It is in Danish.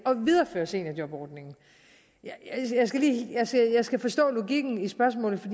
videreføre seniorjobordningen jeg skal forstå logikken i spørgsmålet